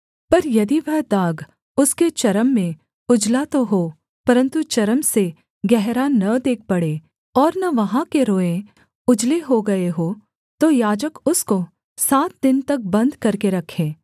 पर यदि वह दाग उसके चर्म में उजला तो हो परन्तु चर्म से गहरा न देख पड़े और न वहाँ के रोएँ उजले हो गए हों तो याजक उसको सात दिन तक बन्द करके रखे